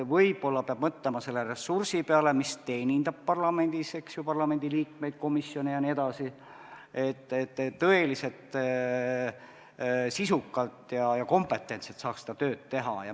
Võib-olla peab mõtlema selle ressursi peale, mis teenindab parlamendis parlamendiliikmeid, komisjone jne, et tõeliselt sisukalt ja kompetentselt saaks seda tööd teha.